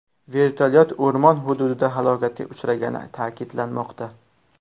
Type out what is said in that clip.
Vertolyot o‘rmon hududida halokatga uchragani ta’kidlanmoqda.